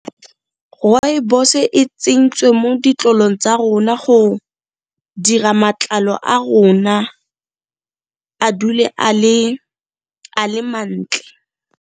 Rooibos e tsentswe mo ditlolong tsa rona go dira matlalo a rona a dule a le mantle.